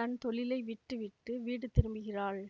தன் தொழிலை விட்டுவிட்டு வீடு திரும்புகிறாள்